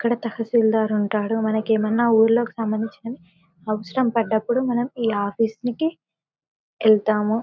ఇక్కడ తాశీల్దారారు ఉంటారు మనకి ఏమైనా ఊర్లోకి సంబందించినవి అవసరం పడ్డప్పుడు మనం ఈ ఆఫీస్ కి వెళ్తాము.